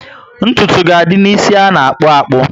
Ntụtụ ga adị ná ísì aga akpu akpu